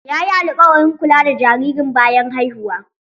Yayi alƙawarin kula da jaririn bayan haihuwa.